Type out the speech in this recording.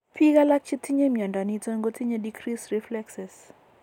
Biik alak chetinye mnyondo niton ko tinye decreased reflexes